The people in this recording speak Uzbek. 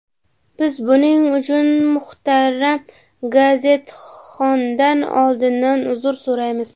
Biz buning uchun muhtaram gazetxondan oldindan uzr so‘raymiz.